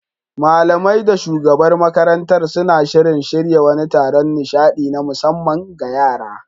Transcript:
Malamai da shugabar makarantar suna shirin shirya wani taron nishaɗi na musamman ga yara.